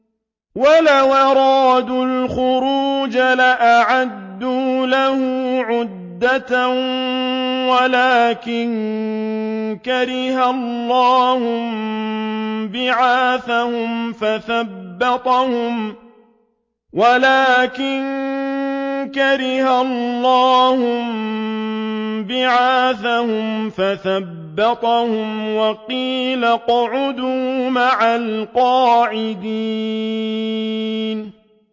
۞ وَلَوْ أَرَادُوا الْخُرُوجَ لَأَعَدُّوا لَهُ عُدَّةً وَلَٰكِن كَرِهَ اللَّهُ انبِعَاثَهُمْ فَثَبَّطَهُمْ وَقِيلَ اقْعُدُوا مَعَ الْقَاعِدِينَ